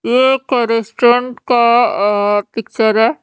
ये एक का अ पिक्चर है।